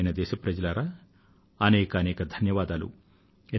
ప్రియమైన దేశ వాసులారా మీకు అనేకానేక ధన్యవాదాలు